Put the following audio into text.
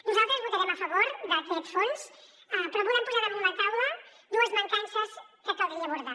nosaltres votarem a favor d’aquest fons però volem posar damunt la taula dues mancances que caldria abordar